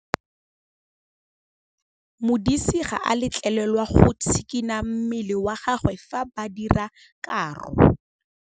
Modise ga a letlelelwa go tshikinya mmele wa gagwe fa ba dira karô.